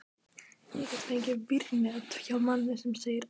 Ég get fengið vírnet hjá manni segir Ása.